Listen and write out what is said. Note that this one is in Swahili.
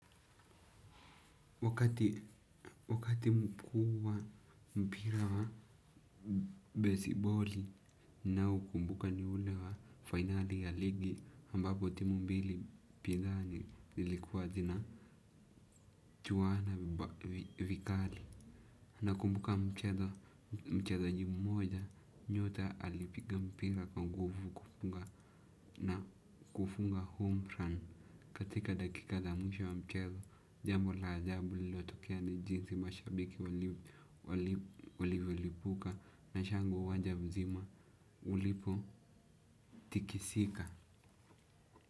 Wakati mkuu wa mpira wa baseball ninaoukumbuka ni ule wa fainali ya ligi ambapo timu mbili pinzani zilikuwa zinachuana vikali. Nakumbuka mchezaji mmoja nyota alipiga mpira kwa nguvu kufunga. Na kufunga home run. Katika dakika za mwisho wa mchezo, jambo la ajabu lililotokea ni jinsi mashabiki walivyolipuka na shangwe uwanja mzima ulipo tikisika.